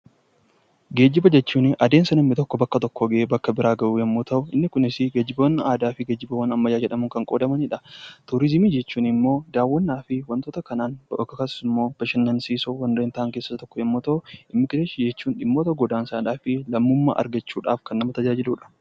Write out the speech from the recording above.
Geejjiba jechuun adeemsa bakka tokkoo gara bakka biraa gahu yommuu ta'u, inni kunis geejjiboonni aadaa fi geejjibawwan ammayyaa jedhamuun kan qoodamanidha. Turizimii jechuun immoo daawwannaa fi wantoota akkasumas immoo bashannansiisoo kanneen ta'an keessaa isaan tokko yommuu ta'u, Immigireeshinii jechuun immoo godaansa lammummaa argachuudhaaf kan nama tajaajiluudha.